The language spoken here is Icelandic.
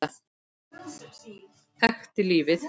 Þekkti lífið.